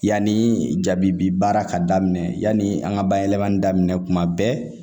Yanni jabi bi baara ka daminɛ yani an ka bayɛlɛmani daminɛ tuma bɛɛ